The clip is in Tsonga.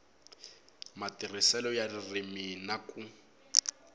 matirhiselo ya ririmi na ku